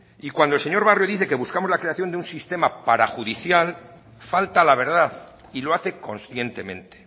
y cuando el señor barrio dice que buscamos la creación de un sistema parajudicial falta a la verdad y lo hace conscientemente